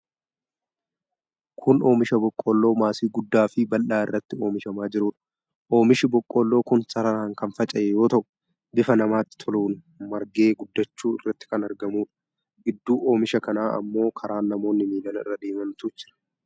Kun oomisha boqqolloo maasii guddaa fi bal'aa irratti oomishamaa jirudha. Oomishi boqqolloo kun sararaan kan faca'ee yoo ta'u bifa namatti toluun margee guddachuu irratti kan argamudha. Gidduu oomisha kanaa ammoo karaa namoonni miilan irra deemantu jira.